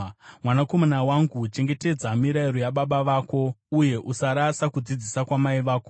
Mwanakomana wangu, chengetedza mirayiro yababa vako, uye usarasa kudzidzisa kwamai vako.